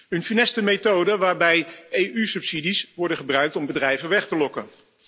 Een funeste methode waarbij EU subsidies worden gebruikt om bedrijven weg te lokken.